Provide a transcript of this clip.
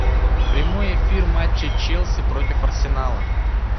прямой эфир матча челси против арсенала